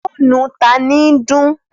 Fònú tan ní dun?